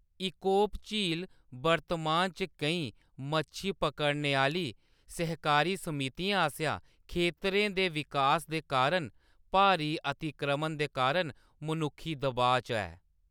इकोप झील वर्तमान च केईं मच्छी पकड़ने आह्‌‌‌ली सहकारी समितिएं आसेआ खेतरें दे विकास दे कारण भारी अतिक्रमण दे कारण मनुक्खी दबाऽ च ऐ।